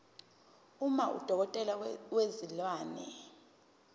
uma udokotela wezilwane